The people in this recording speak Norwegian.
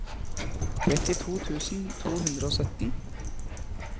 trettito tusen to hundre og sytten